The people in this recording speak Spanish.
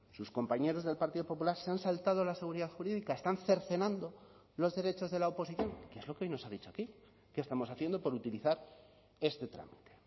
sus compañeros del partido popular se han saltado la seguridad jurídica están cercenando los derechos de la oposición que es lo que hoy nos ha dicho aquí que estamos haciendo por utilizar este trámite